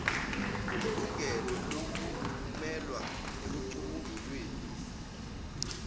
nelungelo lokumelwa ekucubungulweni